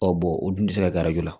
Ɔ bɔn o dun tɛ se ka garajo la